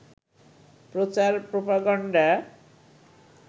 প্রচার প্রপাগান্ডা